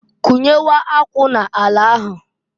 Kunyewe akwụ n'ala ahụ.